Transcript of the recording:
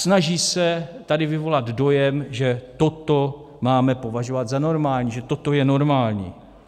Snaží se tady vyvolat dojem, že toto máme považovat za normální, že toto je normální.